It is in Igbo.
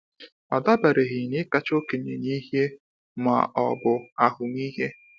Ọ dabereghị na ịkacha okenye n'ihe ma ọ bụ ahụmịhe.